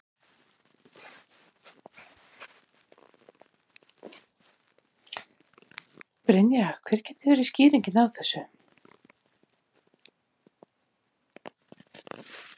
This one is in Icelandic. Brynja: Hver gæti verið skýringin á þessu?